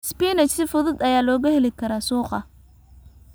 Spinach si fudud ayaa looga heli karaa suuqa.